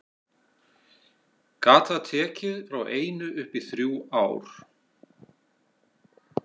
Gat það tekið frá einu upp í þrjú ár.